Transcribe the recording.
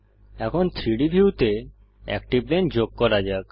এখন 3ডি ভিউতে একটি প্লেন যোগ করা যাক